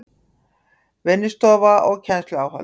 Vinnustofa og kennsluáhöld